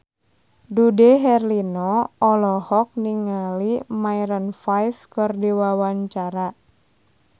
Dude Herlino olohok ningali Maroon 5 keur diwawancara